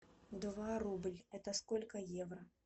два рубль это сколько евро